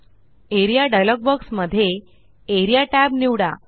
A R E A dialog box मध्ये A R E A tabनिवडा